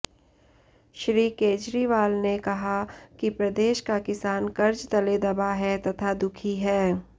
श्री केजरीवाल ने कहा कि प्रदेश का किसान कर्ज तले दबा है तथा दुखी है